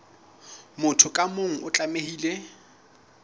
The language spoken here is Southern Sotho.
motho ka mong o tlamehile